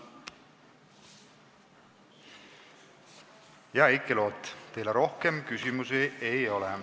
Hea Heiki Loot, teile rohkem küsimusi ei ole.